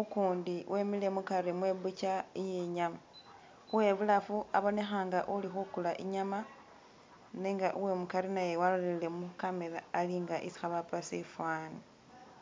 ugundi wemile mugari mwe bucha yenyama webulafu abonekha nga uli khugula inyama nenga we mugari walolelele mu camera ali nga isi bahupa shifani.